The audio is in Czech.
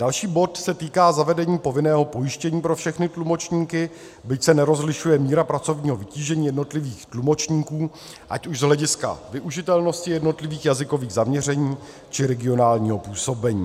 Další bod se týká zavedení povinného pojištění pro všechny tlumočníky, byť se nerozlišuje míra pracovního vytížení jednotlivých tlumočníků ať už z hlediska využitelnosti jednotlivých jazykových zaměření, či regionálního působení.